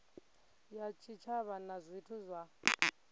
ya tshitshavha na zwithu zwa